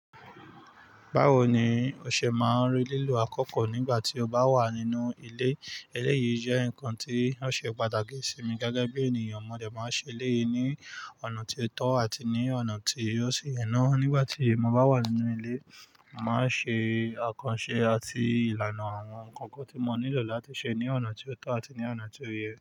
Báwo ni o ṣe máa ń rí lílo àkókò nígbà tí o bá wà nínú ilé? Eléyìí jẹ́ nǹkan tí ó ṣe pàtàkì sí mi gẹ́gẹ́ bí ènìyàn. Mọ̀dẹ̀ máa ń ṣe eléyìí ní ọ̀nà tí ó tọ́ àti ní ọ̀nà tí ó sì yena. Nígbà tí mo bá wà nínú ilé, màá ṣe àkànṣe àti ìlànà àwọn nǹkankan tí mo nílò láti ṣe ní ọ̀nà tí ó tọ́ àti ní ọ̀nà tí ó yẹ.